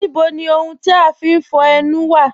Níbò ni ọ̀hùn ti a fín fọ̀ ènù wa?